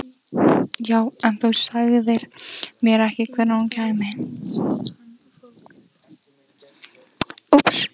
Já, en þú sagðir mér ekkert hvenær hún kæmi.